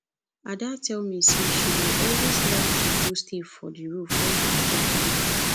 ada tell me say she dey always like to go stay for the roof wen her head full